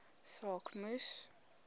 saak moes